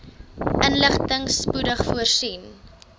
inligting spoedig voorsien